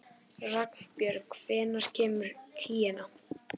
Ragnbjörg, hvenær kemur tían?